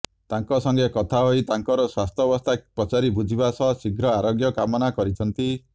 ତାଙ୍କ ସଙ୍ଗେ କଥା ହୋଇ ତାଙ୍କର ସ୍ୱାସ୍ଥ୍ୟବସ୍ଥା ପଚାରି ବୁଝିବା ସହ ଶୀଘ୍ର ଆରୋଗ୍ୟ କାମନା କରିଛନ୍ତି